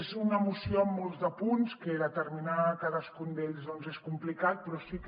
és una moció amb molts punts determinar los cadascun d’ells és complicat però sí que